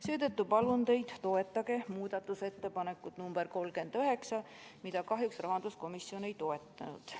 Seetõttu palun teid, toetage muudatusettepanekut nr 39, mida rahanduskomisjon kahjuks ei toetanud.